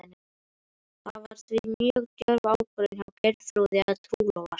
Það var því mjög djörf ákvörðun hjá Geirþrúði að trúlofast